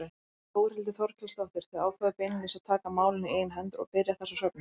Þórhildur Þorkelsdóttir: Þið ákváðuð beinlínis að taka málin í eigin hendur og byrja þessa söfnun?